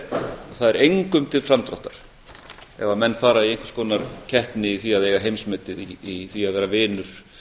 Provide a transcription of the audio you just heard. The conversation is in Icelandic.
það er engum til framdráttar ef menn fara í einhvers konar keppni í því að eiga heimsmetið í því að vera vinur